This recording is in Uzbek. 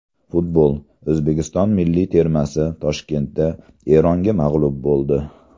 Futbol: O‘zbekiston milliy termasi Toshkentda Eronga mag‘lub bo‘ldi.